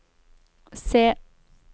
se